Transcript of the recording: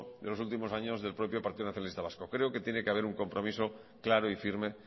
de los últimos años del propio partido nacionalista vasco creo que tiene que hacer un compromiso claro y firme